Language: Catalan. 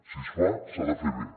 si es fa s’ha de fer bé